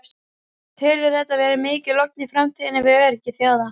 Telurðu þetta vera mikla ógn í framtíðinni við öryggi þjóða?